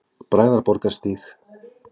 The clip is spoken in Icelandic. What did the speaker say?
Bræðraborgarstíg